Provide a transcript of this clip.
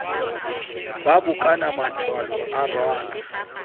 ba bokana mmathabo a rwala